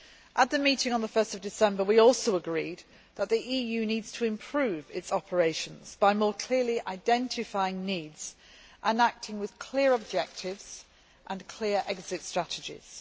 At the meeting of 1 December, we also agreed that the EU needs to improve its operations by more clearly identifying needs and acting with clear objectives and clear exit strategies.